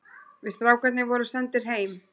Við strákarnir vorum sendir heim.